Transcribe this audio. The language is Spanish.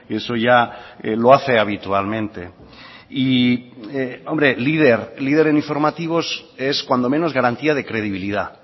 eso ya lo hace habitualmente y hombre líder líder en informativos es cuando menos garantía de credibilidad